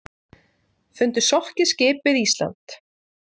Fundu sokkið skip við Ísland